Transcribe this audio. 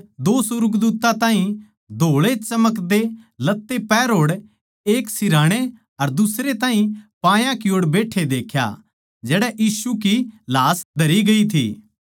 दो सुर्गदूत्तां ताहीं धोळेचमकदे लत्ते पहरे होड़ एक सिरहाणै अर दुसरै ताहीं पात्यां नै बैट्ठे देख्या जड़ै यीशु की लाश धरी गई थी